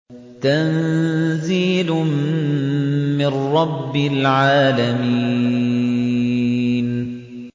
تَنزِيلٌ مِّن رَّبِّ الْعَالَمِينَ